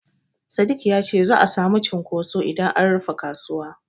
Sadik ya ce za'a samu cunkoso idan an rufe kasuwa.